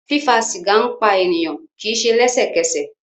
Fífa sìgá ń pa ènìyàn, kì í se lẹ́sẹ̀kẹsẹ̀